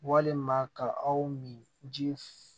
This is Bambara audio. Walima ka aw min ji